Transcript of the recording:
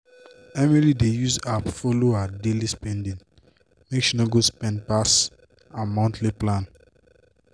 emily dey use app follow her daily spending make she no go spend pass her monthly plan.